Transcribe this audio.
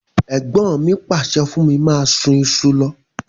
Ègbọ́n mi pàsẹ fún mí máa sun isu lo